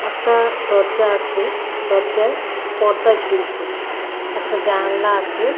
একটাদরজা আছে দরজায় পর্দা ঝুলছে একটা জানলা আছে।